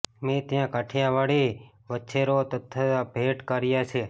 મેં ત્યાં કાઠીયાવાડી વચ્છેરો તથથા ભેટ કર્યા છે